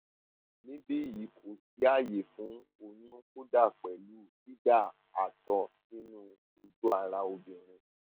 níbí yìí kò sí àyè fún oyún kódà pẹlú dída àtọ sínú ojú ara obìnrin